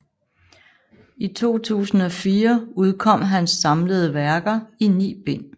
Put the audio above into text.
I 2004 udkom hans samlede værker i ni bind